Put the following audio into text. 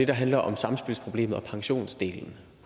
det handler om samspilsproblemet og pensionsdelen